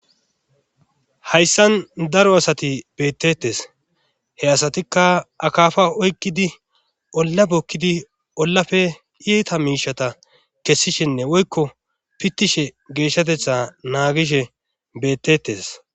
Hayssan daro asati bettettes he asatikka akaafa oykkidi olla bokkidi ollafe iita miishata kessishinne woykko pittishe geeshshatetha naagishe bettettes